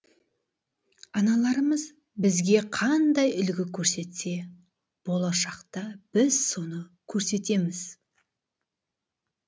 аналарымыз бізге қандай үлгі көрсетсе болашақта біз соны көрсетеміз